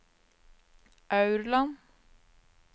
Aurland